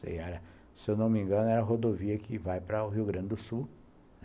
Se eu não me engano, era a rodovia que vai para o Rio Grande do Sul.